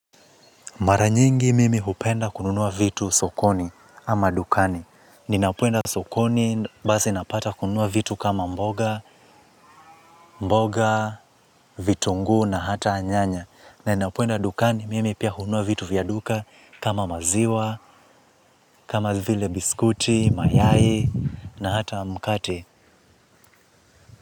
Mara nyingi mimi hupenda kununua vitu sokoni ama dukani. Ninapoenda sokoni, basi napata kununua vitu kama mboga, mboga, vitunguu na hata nyanya. Na ninapoenda dukani, mimi pia hununua vitu vya duka kama maziwa, kama vile biskuti, mayai na hata mkate.